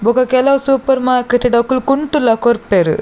ಬೊಕ ಕೆಲವು supermarket ಡು ಅಕುಲು ಕುಂಟುಲ ಕೊರ್ಪೆರ್.